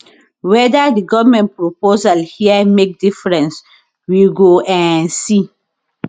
weda di goment proposal here make difference we go um see